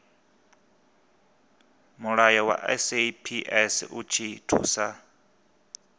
mulayo wa saps u thusa